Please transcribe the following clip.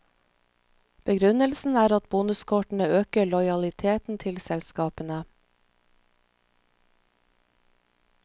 Begrunnelsen er at bonuskortene øker lojaliteten til selskapene.